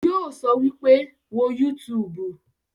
Yóò sọ wípé, 'Wo yútuùbù'